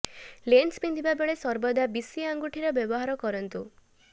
lens ପିନ୍ଧିବା ବେଳେ ସର୍ବଦା ବିଶି ଆଙ୍ଗୁଠିର ବ୍ୟବହାର କରନ୍ତୁ